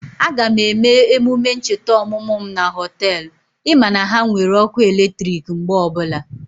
Aga m eme emume ncheta ọmụmụ mụ na Họtelụ, ị ma na ha nwere ọkụ eletrik mgbe ọbụla